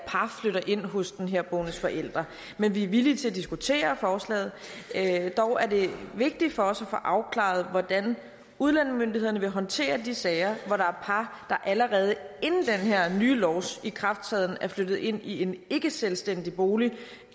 par flytter ind hos den herboendes forældre men vi er villige til at diskutere forslaget dog er det vigtigt for os at få afklaret hvordan udlændingemyndighederne vil håndtere de sager hvor der er par der allerede inden den her nye lovs ikrafttræden er flyttet ind i en ikkeselvstændig bolig og